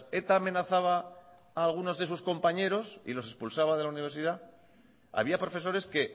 eta amenazaba a algunos de sus compañeros y los expulsaba de la universidad había profesores que